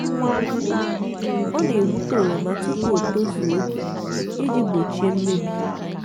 ọ na-egbute oroma tupu o tozuo oke iji gbochie mmebi.